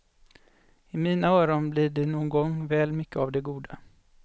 I mina öron blir det någon gång väl mycket av det goda.